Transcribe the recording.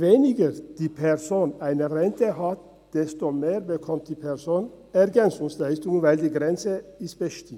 Je tiefer die Rente der Person ist, umso höher die EL, da diese Grenze bestimmt ist.